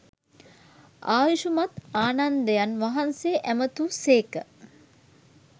ආයුෂ්මත් ආනන්දයන් වහන්සේ ඇමතූ සේක